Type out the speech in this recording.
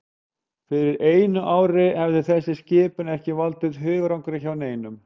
Fyrir einu ári hefði þessi skipun ekki valdið hugarangri hjá neinum.